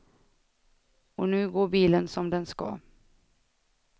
Och nu går bilen som den ska.